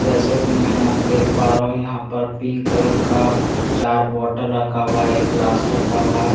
जैसे की मैं यहाँ देख पा रहा हूँ यहाँ पर पिंक कलर का चार बोतल रखा हुआ है एक ग्लास रखा हुआ है एक --